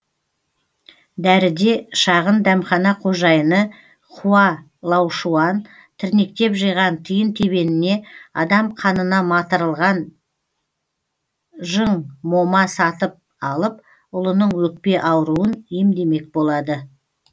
дәріде шағын дәмхана қожайыны хуа лаушуан тірнектеп жиған тиын тебеніне адам қанына матырылған жың мома сатып алып ұлының өкпе ауруын емдемек болады